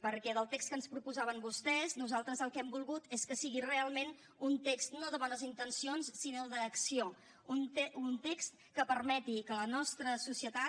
perquè del text que ens proposaven vostès nosaltres el que hem volgut és que sigui realment un text no de bones intencions sinó d’acció un text que permeti que la nostra societat